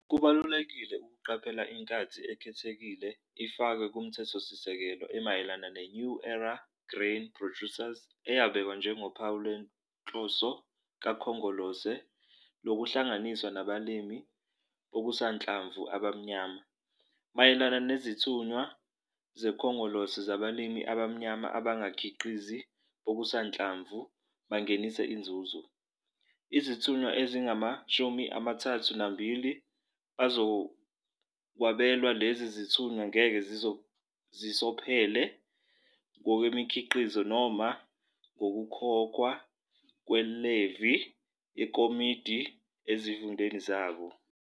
Kubalulekile ukuqaphela i-special dispensation ifakwe kuMthethosisekelo emayelana ne-New Era Grain Producers eyabekwa njengophawu lwenhloso kaKhongolose lokuhlanganiswa nabalimi bokusanhlamvu abamnyama - 'Mayelana nezithunywa zeKhongolose zabalimi abamnyama abangabakhiqizi bokusanhlamvu bangenise inzuzo, izithunywa ezingamashumi amathathu nambili bazokwabelwa. Lezi zithunywa ngeke zisophele ngokwemikhiqizo noma ngokukhokhwa kwe-levy yekhomodithi ezifundeni zabo.